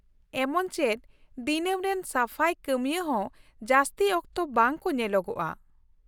ᱮᱢᱚᱪ ᱪᱮᱫ ᱫᱤᱱᱟᱹᱢ ᱨᱮᱱ ᱥᱟᱯᱷᱟᱭ ᱠᱟᱹᱢᱤᱭᱟᱹ ᱦᱚᱸ ᱡᱟᱹᱥᱛᱤ ᱚᱠᱛᱚ ᱵᱟᱝ ᱠᱚ ᱧᱮᱞᱳᱜᱼᱟ ᱾